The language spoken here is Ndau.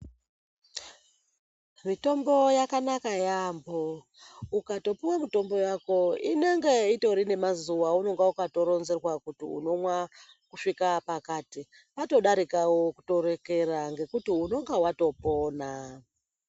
Mitombo yakanaka yaambo ukatopuwa mitombo yako inenge itori nemazuwa aunenge waatoronzerwa kuti unomwa kusvika pakati patodarika wotorekera ngekuti unonga watopona.